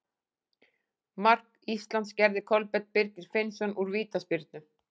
Mark Íslands gerði Kolbeinn Birgir Finnsson úr vítaspyrnu.